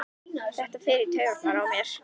Þetta fer í taugarnar á mér.